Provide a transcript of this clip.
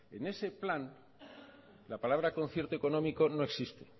en ese plan la palabra concierto económico no existe